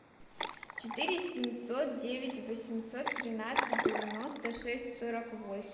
четыре семьсот девять восемьсот тринадцать девяносто шесть сорок восемь